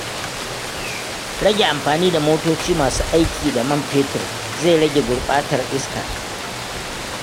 Rage amfani da motoci masu aiki da man fetur zai rage gurɓatar iska.